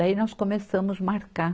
Daí nós começamos marcar.